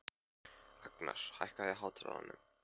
Agnar, hækkaðu í hátalaranum.